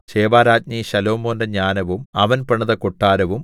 ശെബാരാജ്ഞി ശലോമോന്റെ ജ്ഞാനവും അവൻ പണിത കൊട്ടാരവും